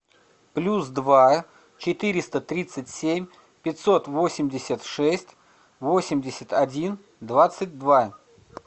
плюс два четыреста тридцать семь пятьсот восемьдесят шесть восемьдесят один двадцать два